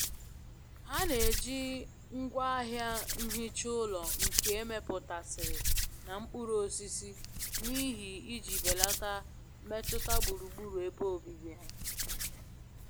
Ha na-eji ngwaahịa nhicha ulo nke emeputasiri na mkpuru osisi n'ihi iji belata mmetụta gburugburu ebe obibi ha.